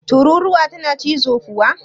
Tururuwa tana cizo kuwa?